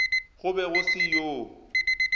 go be go se yoo